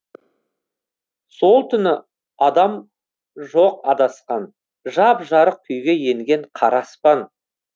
сол түні адам жоқ адасқан жап жарық күйге енген қара аспан